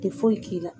Tɛ foyi k'i la